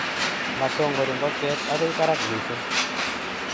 Masongori ngokiet agoi parak mising